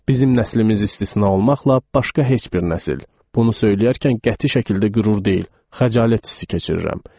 Bizim nəsilimiz istisna olmaqla başqa heç bir nəsil bunu söyləyərkən qəti şəkildə qürur deyil, xəcalət hissi keçirirəm.